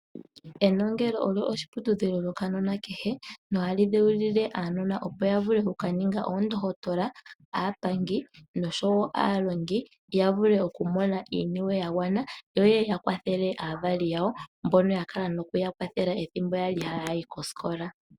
Enongelo olyo oshiputudhilo shokanona kehe nohali dheulile aanona opo ya vule oku kaninga oondohotola, aapangi noshowo aalongi ya vule oku mona iiniwe ya gwana, yo yeye ya kwathele aavali yawo mbono ya kala nokuya kwathela ethimbo yali kosikola.